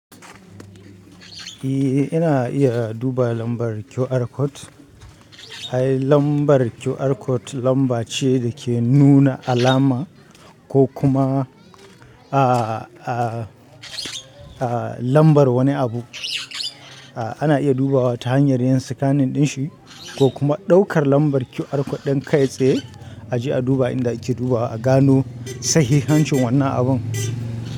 Eh ina iya duba lambar QR code. Ai lambar QR code lamba ce da ke nuna alama ko kuma, a, a, a lambar wani abu. A ana iya dubawa ta hanyar yin scanning din shi ko kuma ɗaukar lambar QR code ɗin kai tsaye a je a duba inda ake dubawa a gano sahihancin wannan abun.